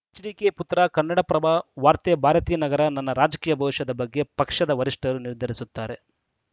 HDK ಪುತ್ರ ಕನ್ನಡಪ್ರಭ ವಾರ್ತೆ ಭಾರತೀನಗರ ನನ್ನ ರಾಜಕೀಯ ಭವಿಷ್ಯದ ಬಗ್ಗೆ ಪಕ್ಷದ ವರಿಷ್ಠರು ನಿರ್ಧರಿಸುತ್ತಾರೆ